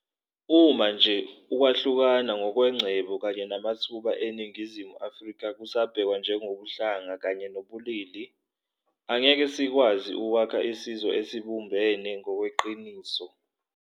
Uma nje ukwahlukana ngokwengcebo kanye namathuba eNingizimu Afrika kusabhekwa ngokobuhlanga kanye nobulili, angeke sikwazi ukwakha isizwe esibumbene ngokweqiniso.